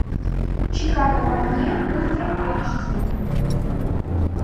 чикаго в огне ультра айч ди